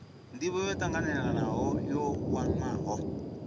ndivho yo tanganelaho yo wanwaho